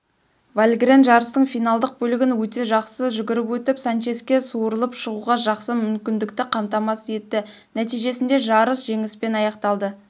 вальгрен жарыстың финалдық бөлігін өте жақсы жүріп өтіп санческе суырылып шығуға жақсы мүмкіндікті қамтамасыз етті нәтижесінде жарыс жеңіспен аяқталды